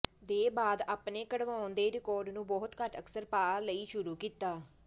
ਦੇ ਬਾਅਦ ਆਪਣੇ ਕਢਵਾਉਣ ਦੇ ਰਿਕਾਰਡ ਨੂੰ ਬਹੁਤ ਘੱਟ ਅਕਸਰ ਪਾ ਲਈ ਸ਼ੁਰੂ ਕੀਤਾ